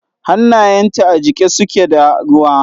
Hannayenta a jike suke da ruwa.